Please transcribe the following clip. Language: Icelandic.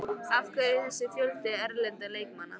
Af hverju er þessi fjöldi erlendra leikmanna?